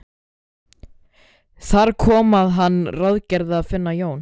Þar kom að hann ráðgerði að finna Jón